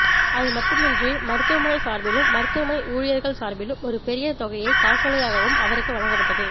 அதுமட்டுமின்றி மருத்துவமனை சார்பிலும் மருத்துவமனை ஊழியர்கள் சார்பிலும் ஒரு பெரிய தொகையை காசோலையாகவும் அவருக்கு வழங்கப்பட்டது